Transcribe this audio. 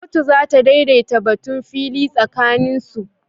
Kotu za ta daidaita batun fili tsakanin su